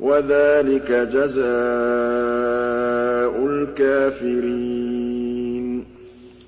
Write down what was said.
وَذَٰلِكَ جَزَاءُ الْكَافِرِينَ